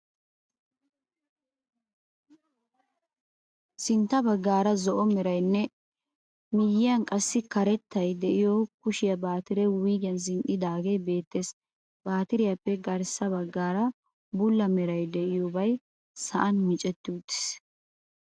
Sintta baggaara zo'o merayinne miyyiyyaara qassi karetta de'iyo kushiya baatire wuyigiyan zin'iddaage beettees. Baatiriyaappe garissa baggaara bulla meray de'iyobay sa'aani micetti uttiis.